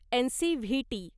N C V T